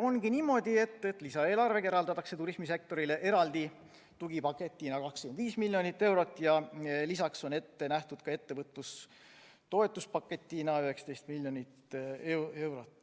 ongi niimoodi, et lisaeelarvega eraldatakse turismisektorile eraldi tugipaketina 25 miljonit eurot ja lisaks on ette nähtud ka ettevõtluse toetuspaketina 19 miljonit eurot.